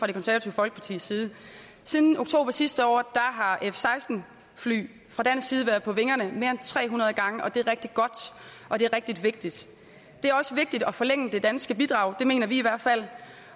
det konservative folkeparti siden oktober sidste år har f seksten fly været på vingerne mere end tre hundrede gange og det er rigtig godt og det er rigtig vigtigt det er også vigtigt at forlænge det danske bidrag det mener vi i hvert fald